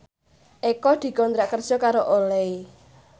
Eko dikontrak kerja karo Olay